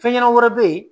Fɛn ɲɛnɛma wɛrɛ bɛ yen